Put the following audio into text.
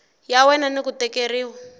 ya wena ni ku tekeriwa